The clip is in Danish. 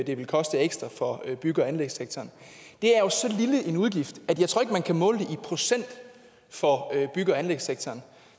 det vil koste ekstra for bygge og anlægssektoren det er jo så lille en udgift at jeg ikke tror man kan måle det i procent for bygge og anlægssektoren